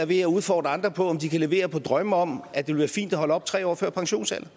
ved at udfordre andre på om de kan levere på drømme om at det vil være fint at holde op tre år før pensionsalderen